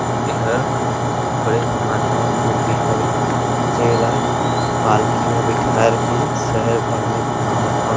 इहर एक गणेश भगवान का मूर्ति हवे जेला पालकी में बैठारके शहर भर में गुमावत ह--